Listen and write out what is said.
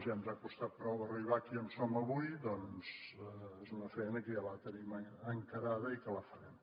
ja ens ha costat prou arribar aquí on som avui doncs és una feina que ja la tenim encarada i que la farem